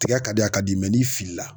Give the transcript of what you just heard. Tigɛ ka di a ka di n'i fili la.